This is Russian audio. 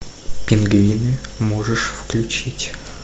пингвины можешь включить